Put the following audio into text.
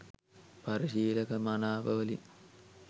පරිශීලක මනාපවලිනි